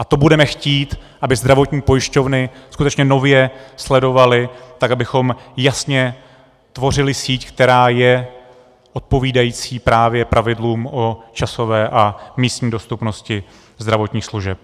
A to budeme chtít, aby zdravotní pojišťovny skutečně nově sledovaly, tak abychom jasně tvořili síť, která je odpovídající právě pravidlům o časové a místní dostupnosti zdravotních služeb.